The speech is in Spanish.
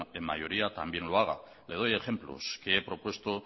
en mayoría también lo haga le doy ejemplos que he propuesto